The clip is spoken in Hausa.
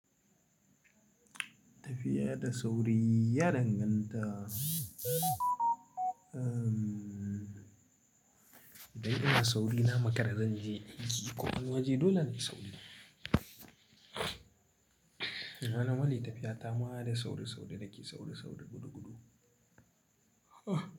Tafiya da sauri ya danganta Idan ina sauri na makara zanje aiki ko wani waje dole nayi sauri. Rannan wani tafiya ta ma da sauri sauri na ke sauri sauri gudu gudu. Ah!